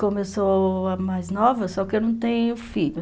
Como eu sou a mais nova, só que eu não tenho filho.